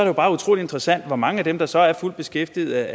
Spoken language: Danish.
jo bare utrolig interessant hvor mange af dem der så er fuldt beskæftigede